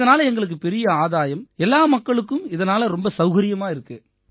இதனால எங்களுக்கு பெரிய ஆதாயம் எல்லா மக்களுக்கும் இதனால ரொம்ப சௌகரியமா இருக்கு